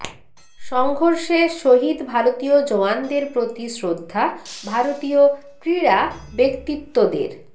সংঘর্ষে শহীদ ভারতীয় জওয়ানদের প্রতি শ্রদ্ধা ভারতীয় ক্রীড়া ব্যক্তিত্বদের